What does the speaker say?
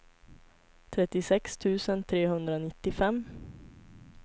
trettiosex tusen trehundranittiofem